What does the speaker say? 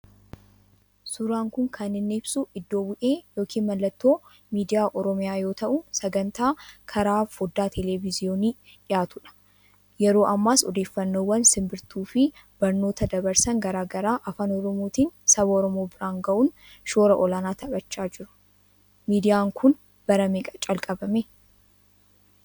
Suuraan kun kan inni ibsu iddoo bu'ee yookiin mallattoo miidiyaa Oromiyaa yoo ta'u saganttaa karaa foddaa Televizyiyoonii dhiyaatu dha. Yeroo ammaas odeeffannoowwan sinbirttuufi barnoota dabarsan garaagaraa Afaan Oromootiin saba Oromoo biraan ga'uun shoora olaanaa taphataa jiruu. Miidiyaan kun bara meeqa jalqabamee ?